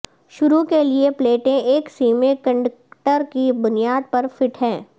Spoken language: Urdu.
شروع کے لئے پلیٹیں ایک سیمی کنڈکٹر کی بنیاد پر فٹ ہیں